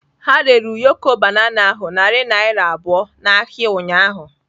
Ha rere ụyọkọ banana ahụ narị naira abụọ n'ahịa ụnyahụ.